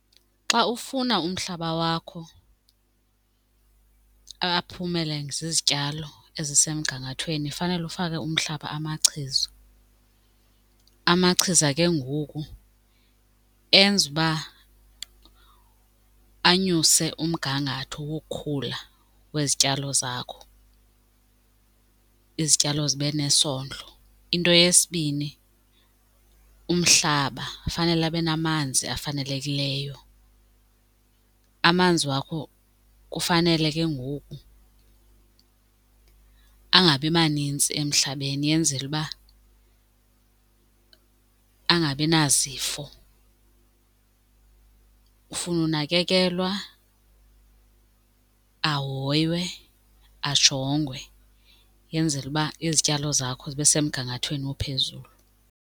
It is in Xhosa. Xa ufuna umhlaba wakho aphumele zizityalo ezisemgangathweni fanele ufake umhlaba amachiza. Amachiza ke ngoku enza uba anyuse umgangatho wokukhula wezityalo zakho, izityalo zibe nesondlo. Into yesibini umhlaba fanele abe namanzi afanelekileyo, amanzi wakho kufanele ke ngoku angabi manintsi emhlabeni yenzele uba angabi nazifo. Ufuna unakekelwa, ahoywe, ajongwe yenzele uba izityalo zakho zibe semgangathweni ophezulu.